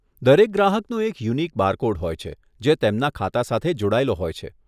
દરેક ગ્રાહકનો એક યુનિક બારકોડ હોય છે જે તેમના ખાતા સાથે જોડાયેલો હોય છે.